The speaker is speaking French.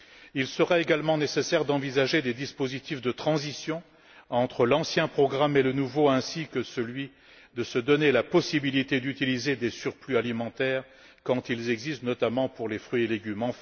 Il sera également nécessaire d'envisager des dispositifs de transition entre l'ancien et le nouveau programme, et de se donner la possibilité d'utiliser des surplus alimentaires quand ils existent, notamment pour les fruits et légumes.